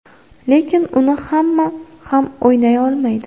Lekin uni hamma ham o‘ynay olmaydi.